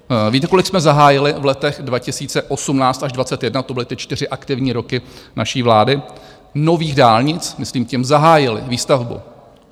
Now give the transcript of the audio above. Víte, kolik jsme zahájili v letech 2018 až 2021, to byly ty čtyři aktivní roky naší vlády, nových dálnic - myslím tím zahájili výstavbu?